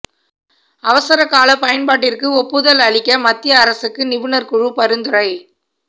அவசர கால பயன்பாட்டிற்கு ஒப்புதல் அளிக்க மத்திய அரசுக்கு நிபுணர் குழு பரிந்துரை